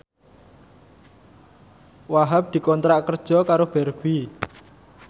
Wahhab dikontrak kerja karo Barbie